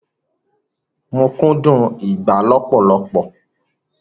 Mo kúndùn ìgbá lọpọlọpọ